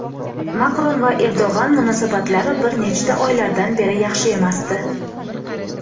Makron va Erdo‘g‘an munosabatlari bir necha oylardan beri yaxshi emasdi.